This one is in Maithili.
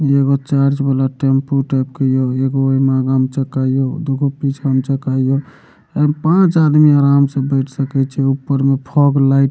ई एगो चर्च वाला टेम्पू टाइप के इ हो एगो इमें आगा मे चक्का हियो दूगो पीछा में चक्का हियो अ इमें पाँच आदमी आराम से बैठ सकै छे ऊपर में फॉग लाइट --